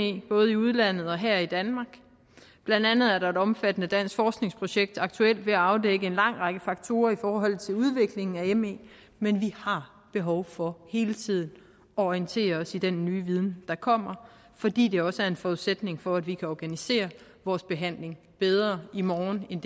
både i udlandet og her i danmark blandt andet er der et omfattende dansk forskningsprojekt der aktuelt er ved at afdække en lang række faktorer i forhold til udviklingen af me men vi har behov for hele tiden at orientere os i den nye viden der kommer fordi det også er en forudsætning for at vi kan organisere vores behandling bedre i morgen end